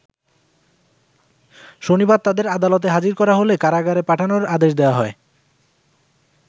শনিবার তাদের আদালতে হাজির করা হলে কারাগারে পাঠানোর আদেশ দেয়া হয়।